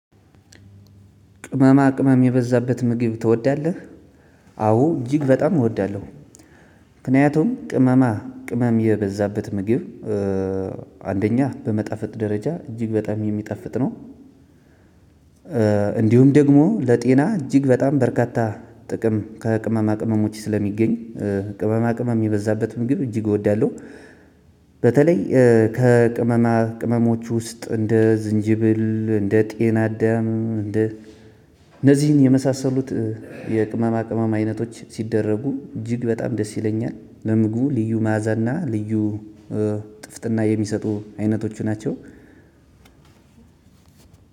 ቅመማ ቅመም የበዛበት ምግብ ትወዳለህ? አዎ እጅግ በጣም እወዳለሁ። ምክንያቱም ቅመማ ቅመም የበዛበት ምግብ አንደኛ በመጣፈጥ ደረጃ እጅግ በጣም የሚጣፍጥ ነው። እንዲሁም ደግሞ ለጤና እጅግ በጣም በርካታ ጥቅም ከቅመማ ቅመሞች ስለሚገኝ ቅመማ ቅመም የበዛበት ምግብ እጅግ እወዳለሁ። በተለይ ከቅመማ ቅመሞች ውስጥ እንደ ዝንጅብል እንደ ጤናአዳም እንደ እነዚህን የመሳሰሉት የቅመማ ቅመም አይነቶች ሲደረጉ እጅግ በጣም ደስ ይለኛል ለምግቡ ልዩ መዓዛና ልዩ ጥፍጥና የሚሰጡ አይነቶቹ ናቸው።